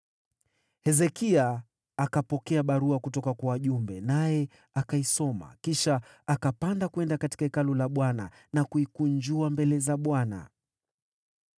Hezekia akapokea barua kutoka kwa wale wajumbe, naye akaisoma. Kisha akapanda katika Hekalu la Bwana , akaikunjua mbele za Bwana .